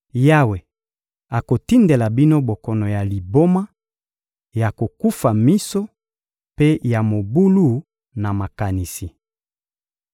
Yawe akotindela bino bokono ya liboma, ya kokufa miso mpe ya mobulu na makanisi.